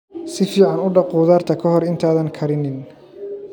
Si fiican u dhaq khudaarta ka hor intaadan karinin.